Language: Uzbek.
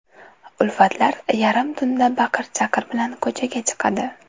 Ulfatlar yarim tunda baqir-chaqir bilan ko‘chaga chiqadi.